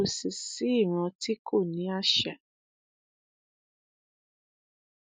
kò sí sí ìran tí kò ní àṣà